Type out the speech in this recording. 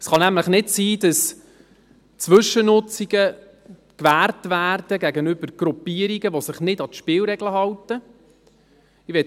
Es kann nämlich nicht sein, dass Zwischennutzungen gegenüber Gruppierungen, die sich nicht an die Spielregeln halten, gewährt werden.